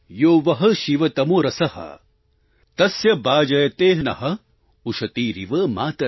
यो वः शिवतमो रसः तस्य भाजयते नः उषतीरिव मातरः